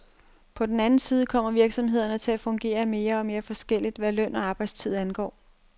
På den anden side kommer virksomhederne til at fungere mere og mere forskelligt, hvad løn og arbejdstid angår.